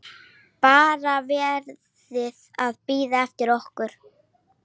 BARA VERIÐ AÐ BÍÐA EFTIR OKKUR!